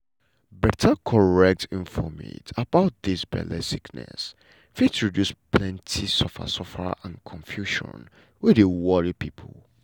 better correct infomate about dis belle sickness fit reduce plenty suffer suffer and confusion wey dey worry pipo.